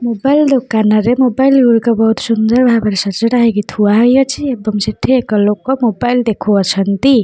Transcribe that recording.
Mobile ଦୋକାନରେ mobile ଗୁଡ଼ିକ ବହୁତ ସୁନ୍ଦର ଭାବରେ ସଜଡ଼ା ହେଇକି ଥୁଆ ହେଇ ଅଛି ଏବଂ ସେଠି ଏକ ଲୋକ ମୋବାଇଲ୍ ଦେଖୁଅଛନ୍ତି।